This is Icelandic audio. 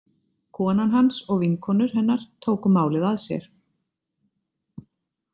Konan hans og vinkonur hennar tóku málið að sér.